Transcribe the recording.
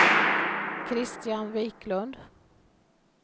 Kristian Viklund